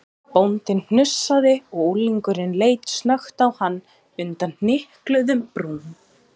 Bóndinn hnussaði og unglingurinn leit snöggt á hann undan hnykluðum brúm.